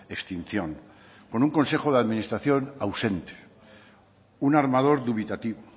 extinción con un consejo de administración ausente un armador dubitativo